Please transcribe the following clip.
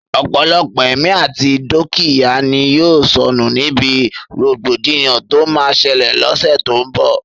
Ọ̀pọ̀lọpọ̀ ẹ̀mí àti dúkìyá ni yóò sọnù níbi rògbòdìyàn tó máa ṣẹlẹ̀ l'ọ́ṣẹ́ tó n bọ̀